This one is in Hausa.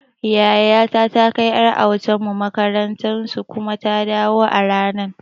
Yayata ta kai ƴar autan mu makarantar su kuma ta dawo a ranan